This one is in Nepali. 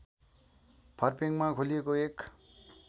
फर्पिङमा खोलिएको एक